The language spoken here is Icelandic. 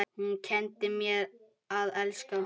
Hún kenndi mér að elska.